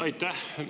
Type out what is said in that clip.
Aitäh!